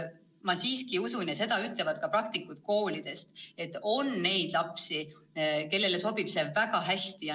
Ma siiski usun ja seda ütlevad ka praktikud koolidest, et on neid lapsi, kellele sobib distantsõpe väga hästi.